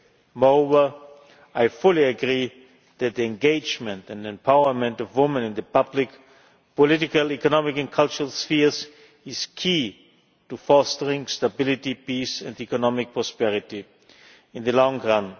Moreover, I fully agree that the engagement and empowerment of women in the public, political, economic and cultural spheres is key to fostering stability, peace and economic prosperity in the long